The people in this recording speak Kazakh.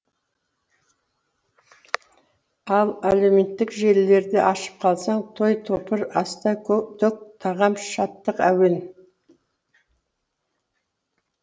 ал әлеуметтік желілерді ашып қалсаң той топыр аста төк тағам шаттық әуен